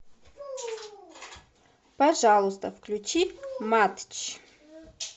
пожалуйста включи матч